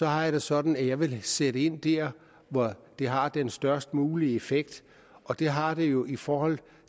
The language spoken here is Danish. har jeg det sådan at jeg vil sætte ind der hvor det har den størst mulige effekt og det har det jo i forhold